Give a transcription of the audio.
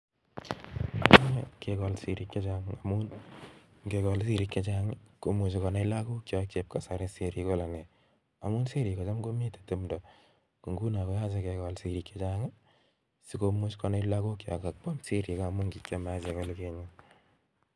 Ngikol. sirrik chechang komuchi konai. lagook chook chepnlasari Kole siriik lone